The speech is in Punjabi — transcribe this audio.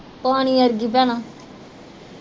ਪਾਣੀ ਅਰਗੀ ਭੈਣਾਂ